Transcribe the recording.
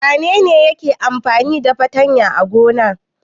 Wane ne yake amfani da fatanya a gona?